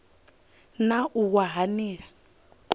na u wa ha nila